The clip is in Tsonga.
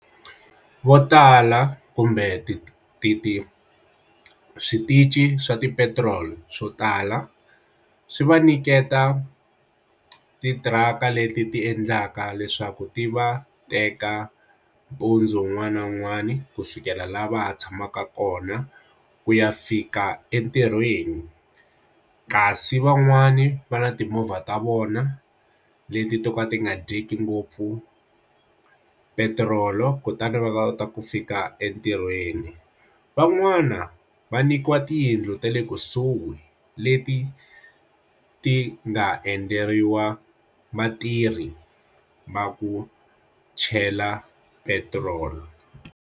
Votala kumbe ti ti ti switichi swa ti petrol swo tala swi va nyiketa ti thiraka leti ti endlaka leswaku ti va teka mpundzu wun'wani na wun'wani kusukela lava tshamaka kona ku ya fika entirhweni kasi van'wani va na timovha ta vona leti to ka ti nga dyeki ngopfu petiroli kutani va kota ku fika entirhweni van'wana va nyikiwa tiyindlu ta le kusuhi leti ti nga endleriwa vatirhi va ku chela petiroli.